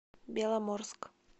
беломорск